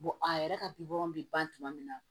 a yɛrɛ ka bɛ ban tuma min na